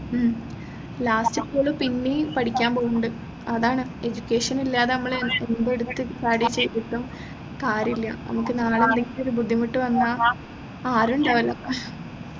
ഉം last ഇപ്പൊ ഓൾ പിന്നെയും പഠിക്കാൻ പോവുന്നുണ്ട് അതാണ് education ഇല്ലാതെ നമ്മൾ എന്ത് എടുത്തിട്ട് കാര്യം ചെയ്തിട്ടും കാര്യയില്ല നമ്മക്ക് നാളെ എന്തെങ്കിലും ബുദ്ധിമുട്ട് വന്നാൽ ആരും ഉണ്ടാവില്ല